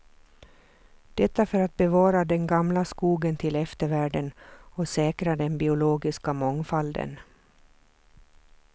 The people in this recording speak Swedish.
Detta för att bevara den gamla skogen till eftervärlden och säkra den biologiska mångfalden.